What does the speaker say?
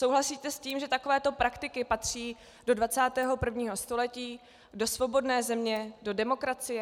Souhlasíte s tím, že takového praktiky patří do 21. století, do svobodné země, do demokracie?